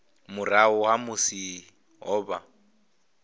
murahu ha musi ho vha